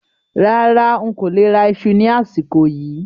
Rárá, ń kó lè rà ìṣù ni àsìkò yìí